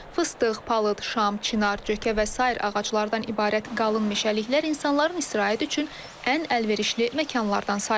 Fıstıq, palıd, şam, çinar, cökə və sair ağacılardan ibarət qalın meşəliklər insanların istirahət üçün ən əlverişli məkanlardan sayılır.